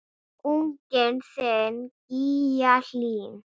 Unginn þinn, Gígja Hlín.